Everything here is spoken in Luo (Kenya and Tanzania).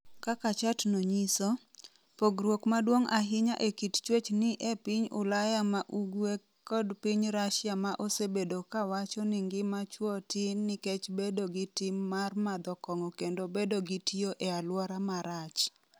Kaka chatno nyiso, pogruok maduong’ ahinya e kit chwech ni e piny Ulaya ma ugwe kod piny Rusia ma osebedo ka wacho ni ngima chwo tin nikech bedo gi tim mar madho kong’o kendo bedo gi tiyo e aluora marach.